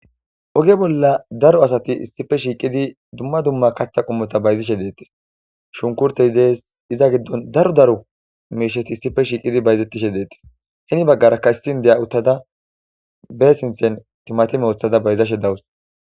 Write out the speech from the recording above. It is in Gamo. Oge bolla daro asati issippe shiiqi uttidine dumma dumma kaththa qommota bayzishe deettes. Shunkurtey deesi iza giddon daro daro miishsheti issippe ahiiqidi bayizetishe deetyes. He baggara ossi inddiya uttada be sinththen timatime woththada bayzashe de'awus.